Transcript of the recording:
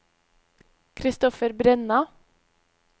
Christopher Brenna